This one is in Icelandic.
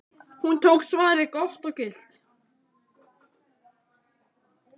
Hún tók svarið gott og gilt.